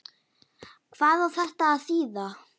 Hvað á þetta að þýða?